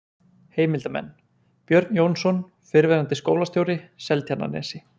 Heimildarmenn: Björn Jónsson, fyrrverandi skólastjóri, Seltjarnarnesi